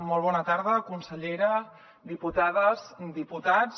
molt bona tarda consellera diputades diputats